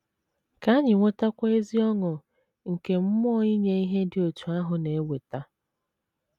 Ka anyị nwetakwa ezi ọṅụ nke mmụọ inye ihe dị otú ahụ na - eweta.